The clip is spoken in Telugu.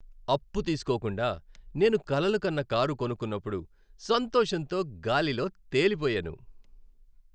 అప్పు తీసుకోకుండా నేను కలలు కన్న కారు కొనుకున్నపుడు సంతోషంతో గాలిలో తేలిపోయాను.